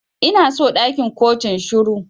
Ina so ɗakin kotun shiru.